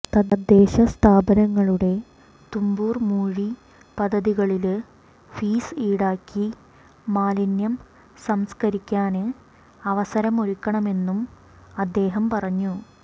തദ്ദേശസ്ഥാപനങ്ങളുടെ തുമ്പൂര്മൂഴി പദ്ധതികളില് ഫീസ് ഈടാക്കി മാലിന്യം സംസ്കരിക്കാന് അവസരമൊരുക്കണമെന്നും അദ്ദേഹം പറഞ്ഞു